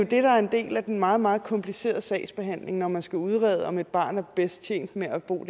det der er en del af den meget meget komplicerede sagsbehandling når man skal udrede om et barn er bedst tjent med at bo